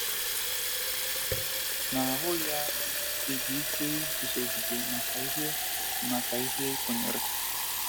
Ị na - ahụ ya dị gị ike iguzogide maka ihe maka ihe i kwenyere?